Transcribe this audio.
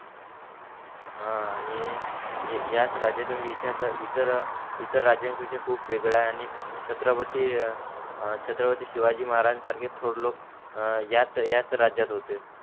हा आणि याच राज्यात इतिहासात इतर राज्यान पेक्षा खूप वेगडा आहे आणि छत्रपती शिवाजी महाराज्यंसारखे थोर लोक याच याच राज्यात होते.